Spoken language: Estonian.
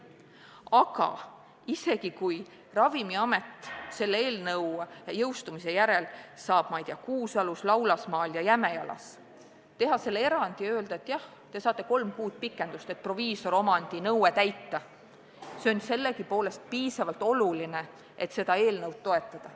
Aga kui Ravimiamet selle eelnõu jõustumise järel saab, ma ei tea, Kuusalus, Laulasmaal ja Jämejalas teha selle erandi ja öelda, et jah, te saate kolm kuud pikendust, et proviisoriomandi nõue täita, siis see on piisavalt oluline, et seda eelnõu toetada.